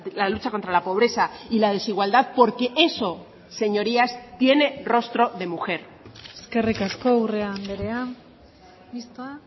la lucha contra la pobreza y la desigualdad porque eso señorías tiene rostro de mujer eskerrik asko urrea andrea mistoa